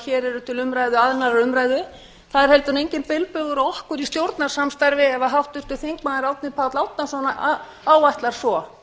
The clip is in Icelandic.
hér eru til annarrar umræðu það er heldur enginn bilbug á okkur í stjórnarsamstarfi ef háttvirtur þingmaður árni páll árnason áætlar svo